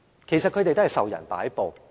其實，他們也是受人擺布。